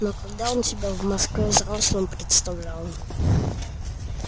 но когда он себя в москве взрослым представлял